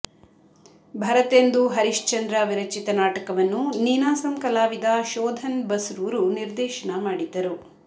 ಭರತೆಂದು ಹರಿಶ್ಚಂದ್ರ ವಿರಚಿತ ನಾಟಕವನ್ನು ನೀನಾಸಂ ಕಲಾವಿದ ಶೋಧನ್ ಬಸ್ರೂರು ನಿರ್ದೇಶನ ಮಾಡಿದ್ದರು